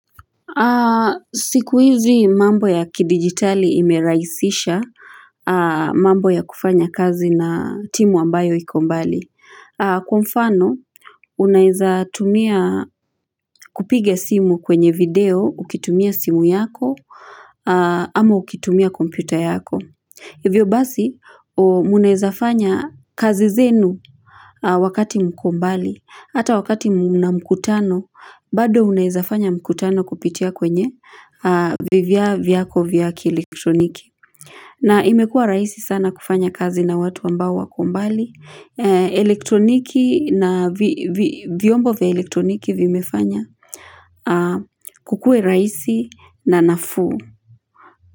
Siku hizi mambo ya kidigitali imerahisisha mambo ya kufanya kazi na timu ambayo iko mbali. Kwa mfano, unaeza tumia kupiga simu kwenye video, ukitumia simu yako, ama ukitumia kompyuta yako. Hivyo basi munezafanya kazi zenu wakati mko mbali, hata wakati mna mkutano, bado munezafanya mkutano kupitia kwenye vivya viyako viyako vya elektroniki. Na imekua rahisi sana kufanya kazi na watu ambao wako mbali, elektroniki na vyombo vya elektroniki vimefanya kukue rahisi na nafuu.